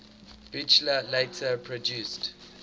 buchla later produced